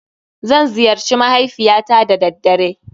Zan ziyarci mahaifiyata da daddare.